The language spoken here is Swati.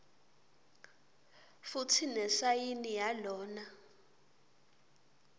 futsi nesayini yalona